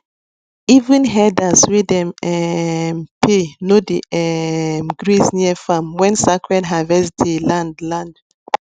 even herders wey dem um pay no dey um graze near farm when sacred harvest day land land